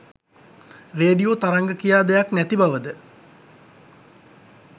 radio තරංග කියා දෙයක් නැති බවද